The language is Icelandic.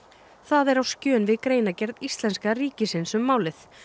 það er á skjön við greinargerð íslenska ríkisins um málið